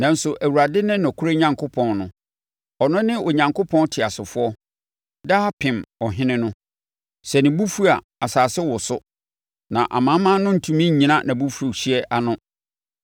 Nanso, Awurade ne nokorɛ Onyankopɔn no; ɔno ne Onyankopɔn teasefoɔ, daapem Ɔhene no. Sɛ ne bo fu a, asase woso; na amanaman no ntumi nnyina nʼabufuhyeɛ ano.